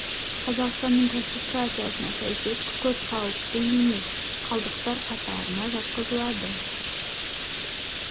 қазақстанның класификациясына сәйкес күкірт қауіпті емес қалдықтар қатарына жатқызылады